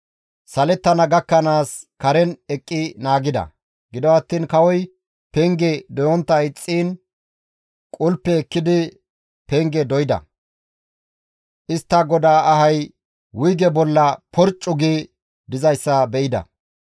Salettana gakkanaas karen eqqi naagida; gido attiin kawoy penge doyontta ixxiin qulpe ekkidi pengeza doyda; istta godaa ahay wuyge bolla porccu gi dizayssa be7ida.